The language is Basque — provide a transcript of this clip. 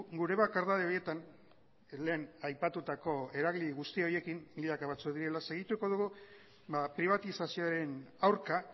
gure bakardade horietan lehen aipatutako eragile horiekin milaka batzuk direla segituko dugu pribatizazioaren aurka